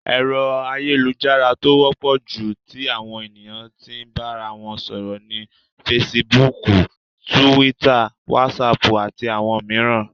Ẹ̀rọ ayélujára tó wọ́pọ̀ jù tí àwọn ènìyàn tí n bára wọn sọ̀rọ̀ ni Fesibúùkù, Túwítà, Wásaàpù, àti àwọn mìíràn.